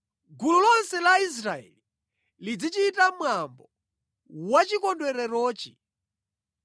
Gulu lonse la Israeli lizichita mwambo wachikondwererochi.